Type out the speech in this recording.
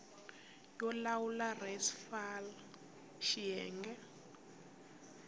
yo lawula res fal xiyenge